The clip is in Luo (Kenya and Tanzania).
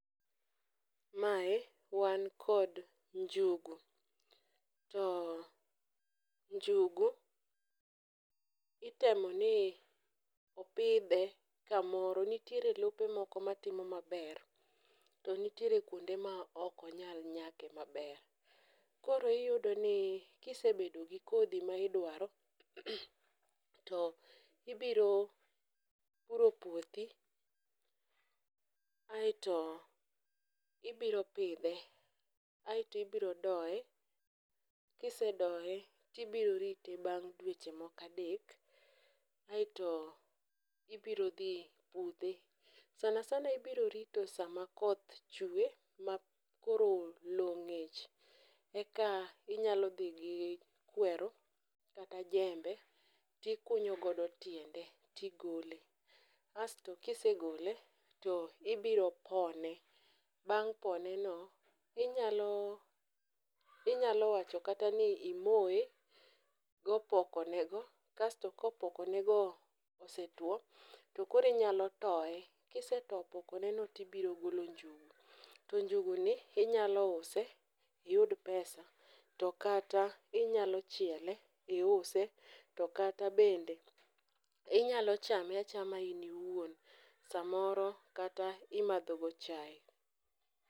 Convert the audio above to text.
Mae wan kod njugu, to njugu itemo ni opidhe kamoro, nitiere lope moko matimo maber, to nitiere kwonde ma ok onyal nyake maber. koro iyudoni kisebedo gi kodhi ma idwaro to ibiro puro puothi, aeto ibiro pidhe, aeto ibiro doye, kisedoye tibiro rite bang' dweche moko adek, aeto ibiro dhi pudhe, sana sana ibiro rito sama koth chwe ma koro lowo ng'ich eka inyalo dhi gi kweru kata jembe tikunyo godo tiende tigole, asto kisegole, to ibiro pone, bang' poneno, inyalo wacho kata ni imoye gopoko nego kasto ka opoko nego osetuwo, tokoro inyalo toye, kiseto opoko neno tibiro golo njugu, to njuguni inyalo use iyud pesa to kata inyalo chiele, iuse, to kata bende inyalo chame achama in iwuon samoro kata imadhogo chaye.